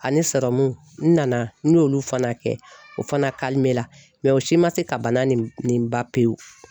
Ani n nana y'olu fana kɛ o fana la o si ma se ka bana nin nin ba pe pewu.